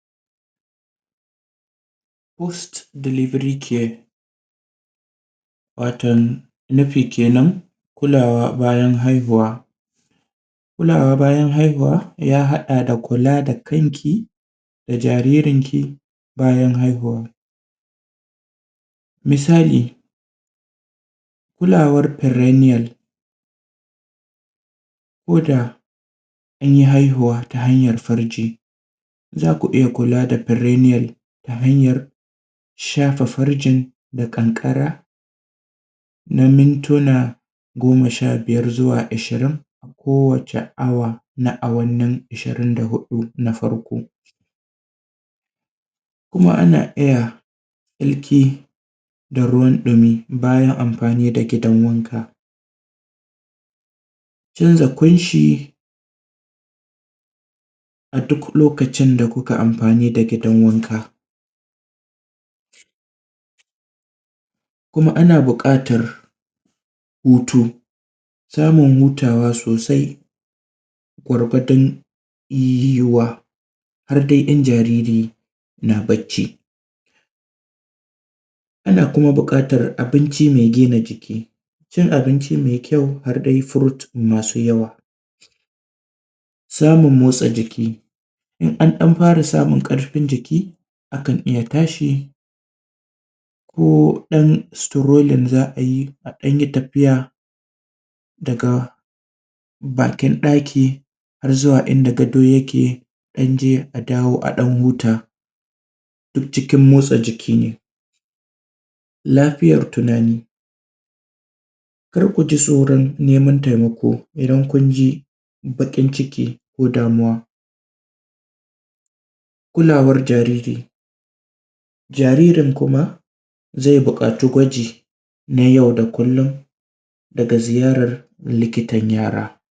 boost delivery care waton nufi kenan kulawa bayan haihuwa kulawa bayan haihuwa ya haɗa da kula da kanki da jaririnki bayan haihuwa misali kulawar perennial ko da an yi haihuwa ta hanyar farji za ku iya kula da perennial ta hanyar shafa farjin da ƙanƙara na mintuna goma sha biyar zuwa ashirin kowace awa na awannin ashirin da huɗu na farko kuma ana iya tsarki da ruwan ɗumi bayan amfani da gidan wanka canza ƙunshi a duk lokacin da kuka amfani da gidan wanka kuma ana buƙatar hutu samun hutawa sosai gwargadon iyawa har dai in jariri na barci ana kuma buƙatar abinci mai gina jiki cin abinci har da fruit masu yawa samun motsa jiki in an ɗan fara samun ƙarfin jiki akan ɗan iya tashi ko ɗan strolling za a yi a ɗan yi tafiya daga bakin ɗaki har zuwa inda gado yake ɗan je a dawo a ɗan huta duk cikin motsa jiki ne lafiyar tunani kar ku ji tsoron neman taimako idan kun ji baƙin ciki ko damuwa kulawar jariri jaririn kuma zai buƙaci gwaji na yau da kullum daga ziyarar likitan yara